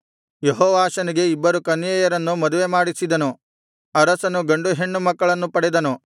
ಯೆಹೋಯಾದನು ಯೆಹೋವಾಷನಿಗೆ ಇಬ್ಬರು ಕನ್ಯೆಯರನ್ನು ಮದುವೆ ಮಾಡಿಸಿದನು ಅರಸನು ಗಂಡು ಹೆಣ್ಣು ಮಕ್ಕಳನ್ನು ಪಡೆದನು